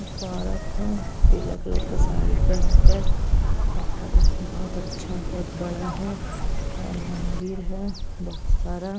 एक औरत है पीले कलर का साड़ी पहन कर और बोहोत अच्छा बोहोत बड़ा है और मंदिर है बोहोत सारा --